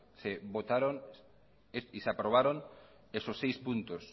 se votaron y se aprobaron esos seis puntos